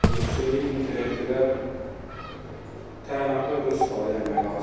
Bu süni intellekti də təyinatına uyğun istifadə eləmək lazımdır.